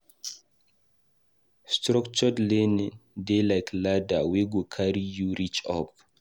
Structured learning dey like ladder wey go carry you reach up.